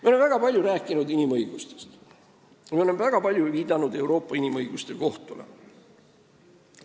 Me oleme väga palju rääkinud inimõigustest ja väga palju viidanud Euroopa Inimõiguste Kohtule.